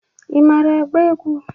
Ị mara agba egwu?